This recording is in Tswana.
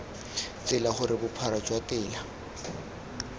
tsela gore bophara jwa tela